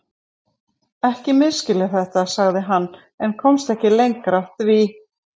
Ekki misskilja þetta, sagði hann en komst ekki lengra því